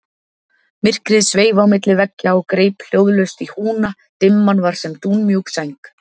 Myrkrið sveif á milli veggja og greip hljóðlaust í húna, dimman var sem dúnmjúk sæng.